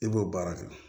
I b'o baara kɛ